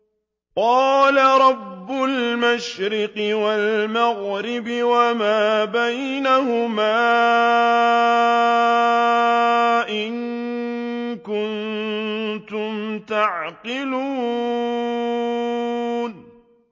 قَالَ رَبُّ الْمَشْرِقِ وَالْمَغْرِبِ وَمَا بَيْنَهُمَا ۖ إِن كُنتُمْ تَعْقِلُونَ